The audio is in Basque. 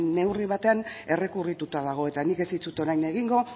neurri batean errekurrituta dago eta nik ez dizut orain egingo